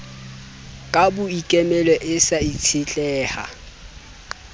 ka boikemelo e sa itshetleha